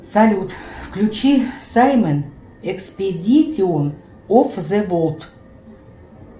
салют включи саймон экспедитион оф зе болд